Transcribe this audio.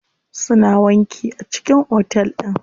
Suna wanki a cikin otel din.